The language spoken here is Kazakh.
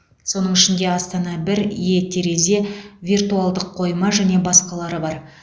соның ішінде астана бір е терезе виртуалдық қойма және басқалары бар